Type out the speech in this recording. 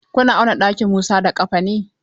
Kuna auna ɗakin Musa da ƙafa ne?